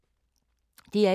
DR1